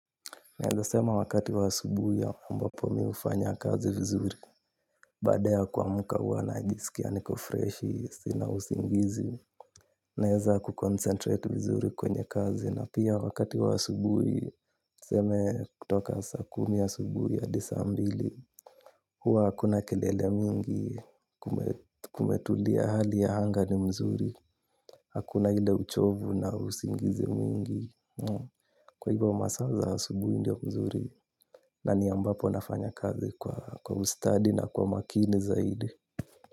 Naeza sema wakati wa asubuhi ambapo mihufanya kazi vizuri. Baad ya kuamka huwana jisikia niko freshi, sina usingizi. Naeza kukoncentrate vizuri kwenye kazi. Na pia wakati wa asubuhu tuseme kutoka saa kumi ya asubuhi hadisambili. Hua hakuna kelele mingi kumetulia hali ya hanga ni mzuri. Hakuna hile uchovu na usingizi mingi. Kwa hivo masaa za asubuhi ndio mzuri. Na ni ambapo nafanya kazi kwa ustadi na kwa makini zaidi.